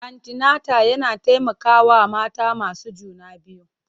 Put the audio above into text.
Antinata yana taimakawa mata masu juna biyu.